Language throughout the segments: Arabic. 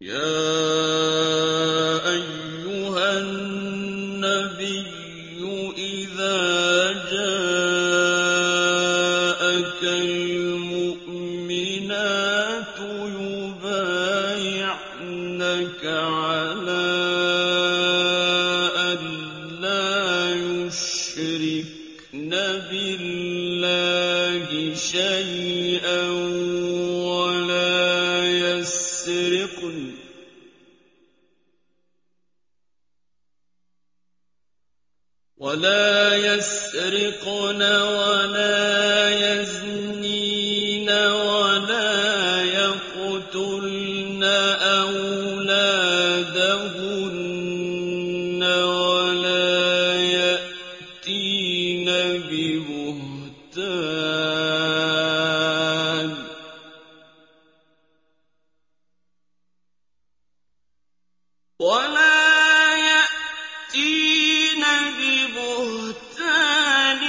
يَا أَيُّهَا النَّبِيُّ إِذَا جَاءَكَ الْمُؤْمِنَاتُ يُبَايِعْنَكَ عَلَىٰ أَن لَّا يُشْرِكْنَ بِاللَّهِ شَيْئًا وَلَا يَسْرِقْنَ وَلَا يَزْنِينَ وَلَا يَقْتُلْنَ أَوْلَادَهُنَّ وَلَا يَأْتِينَ بِبُهْتَانٍ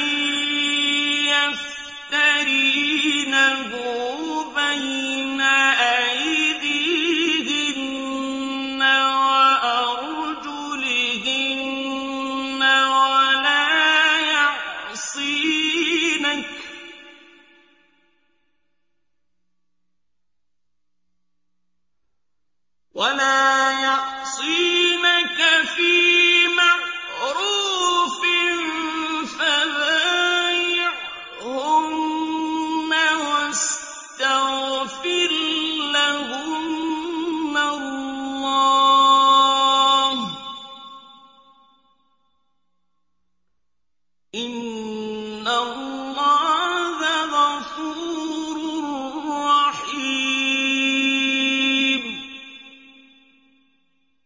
يَفْتَرِينَهُ بَيْنَ أَيْدِيهِنَّ وَأَرْجُلِهِنَّ وَلَا يَعْصِينَكَ فِي مَعْرُوفٍ ۙ فَبَايِعْهُنَّ وَاسْتَغْفِرْ لَهُنَّ اللَّهَ ۖ إِنَّ اللَّهَ غَفُورٌ رَّحِيمٌ